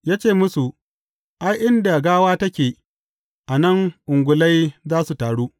Ya ce musu, Ai, inda gawa take, nan ne ungulai za su taru.